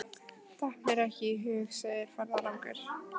Datt mér ekki í hug, segir ferðalangur.